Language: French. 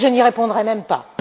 Je n'y répondrai même pas.